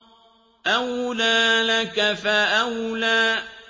أَوْلَىٰ لَكَ فَأَوْلَىٰ